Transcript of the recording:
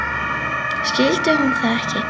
Skildi hún það ekki?